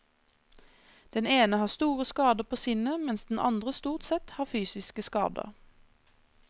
Den ene har store skader på sinnet mens den andre stort sett har fysiske skader.